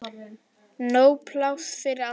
Nóg pláss fyrir alla.